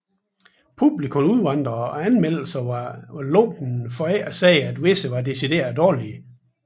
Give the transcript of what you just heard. Publikum udvandrede og anmeldelserne var lunkne for ikke at sige at visse var decideret dårlige